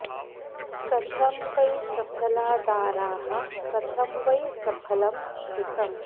कथं वै सफला दाराः कथं वै सफलं श्रुतम्